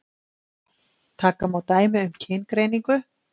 Taka má dæmi um kyngreiningu.